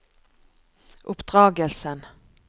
oppdragelsen